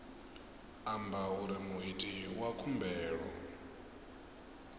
amba uri muiti wa khumbelo